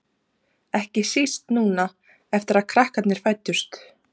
Ekki síst núna eftir að krakkarnir fæddust.